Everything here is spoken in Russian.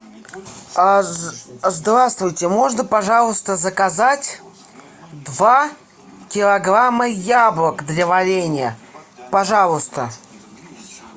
здравствуйте можно пожалуйста заказать два килограмма яблок для варенья пожалуйста